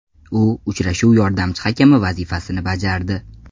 U uchrashuv yordamchi hakami vazifasini bajardi.